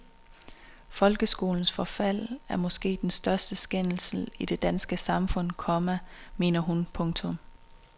Folkeskolens forfald er måske den største skændsel i det danske samfund, komma mener hun. punktum